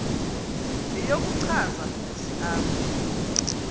yeyokuchaza umzi apho